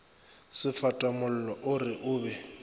sefatamollo o re o be